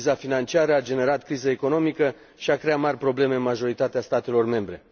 Criza financiară a generat o criză economică și a creat mari probleme în majoritatea statelor membre.